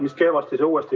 Mis kehvasti, see uuesti.